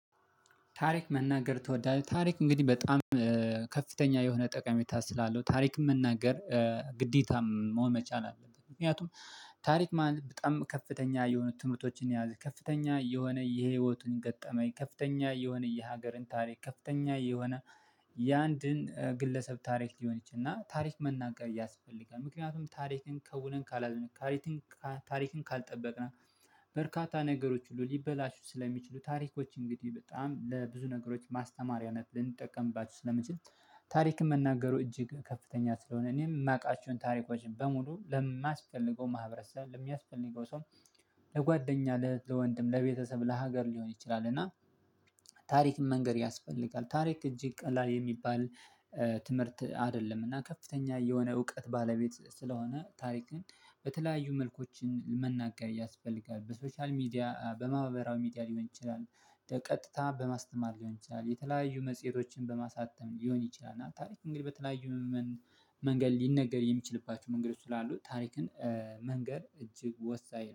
ታሪክ መናገር ትወዳለህ? ታሪክ እንግዲህ በጣም ከፍተኛ የሆነ ጠቀሜታ ስላለው ታሪክ መናገር ግዴታም መሆን መቻል አለብት። ምክንያቱም ታሪክ ማለት በጣም ከፍተኛ የሆኑ ትምህርቶችን የያዘ ከፍተኛ የሆነ የህይወቱን ገጠመኝ ከፍተኛ የሆነ የሀገርን ታሪክ ከፍተኛ የሆነ የአንድን ግለሰብ ታሪክ ሊሆን ይችል እና ታሪክ መናገር ያስፈልጋል ምክንያቱም ታሪክን ከውነን። ታሪክን ካልጠበቅን በርካታ ነገሮች ሁሉ ሊበላሹ ስለሚችሉ ታሪኮች እንግዲህ በጣም ለብዙ ነገሮች ማስተማሪያነት ልንጠቀምባችሁ ስለምንችል። ታሪክ መናገሩ እጅግ ከፍተኛ ስለሆነ እኔም ማውቃችዉን ታሪኮች በሙሉ ለሚስፈልገው ማህበረሰብ ለሚያስፈልገው ሰው ለጓደኛ ለወንድም ለቤተሰብ ለሀገር ሊሆን ይችላል። እና ታሪክ መንገድ ያስፈልጋል ታሪክ እጅግ ቀላል የሚባል ትምህርት አይደለም እና ከፍተኛ የሆነ እውቀት ባለቤት ስለሆነ ታሪክን በተለያዩ መልኮችን መናገር ያስፈልጋል። በሶሻል ሚዲያ በማህበራዊው ሚዲያ ሊሆን ይችላል ቀጥታ በማስተማር ሊሆን ይችላል የተለያዩ መጽሄቶችን በማሳተም ሊሆን ይችላል። እና ታሪክ እንግዲህ በተለያዩ መንገድ ሊነገር የሚችልባችሁ መንገድ ስላሉ ታሪክን መንገር እጅግ ወሳኝ